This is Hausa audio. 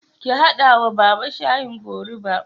Ki haɗa wa Baba. shayin goruba